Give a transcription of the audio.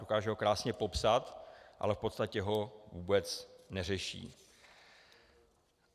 Dokáže ho krásně popsat, ale v podstatě ho vůbec neřeší.